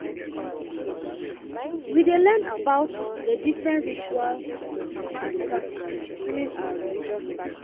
We dey learn about the different rituals and practices during our religious classes.